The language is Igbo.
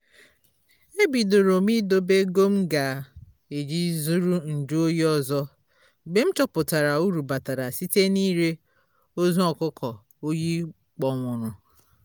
e bịdoro m ịdobe ego m ga-eji zụrụ nju oyi ọzọ mgbe m chọpụtara uru batara site n'ire ozu ọkụkọ oyi kpọnwụrụ